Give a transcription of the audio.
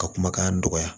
Ka kumakan dɔgɔya